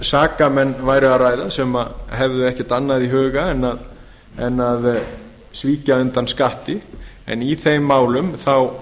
sakamenn væri að ræða sem hefðu ekkert annað í huga en að svíkja undan skatti í